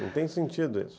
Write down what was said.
Não tem sentido isso.